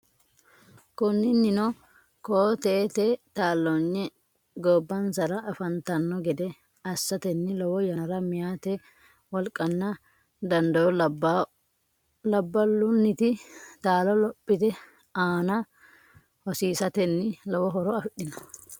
Konninnino koo teete taalloonye gobbansara afantanno gede assatenni lowo yannara meyaate wolqanna dandoo labba- llunni taalo lophote aana hosiisatenni lowo horo afidhino.